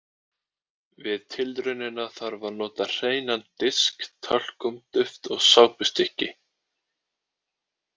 Við tilraunina þarf að nota hreinan disk, talkúm-duft og sápustykki.